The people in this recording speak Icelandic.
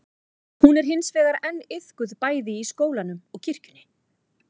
Hún er hins vegar enn iðkuð bæði í skólanum og kirkjunni.